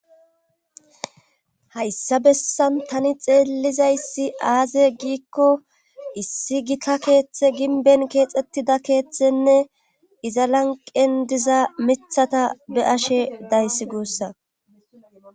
hayssa bessan tani xeellizayssi aaze giikko issi gita keeththe ginben keexxettida keeththenne iza lanqen diza mithata be ashe dayssi guussa